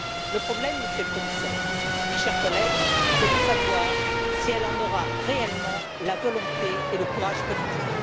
Le problème, Monsieur le Commissaire, mes chers collègues, c'est de savoir si elle en aura réellement la volonté et le courage politique.